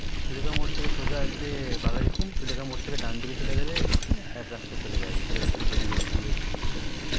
সুলেখা মোড় দিয়ে সোজা আসলে বাঘাযতীন সুলেখা মোড় দিয়ে ডানদিকে চলে গালে এক রাস্তা চলে যায় ভেতরে ভেতরে গলিগলি দিয়ে যেতে হয়